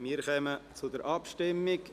Wir kommen zur Abstimmung.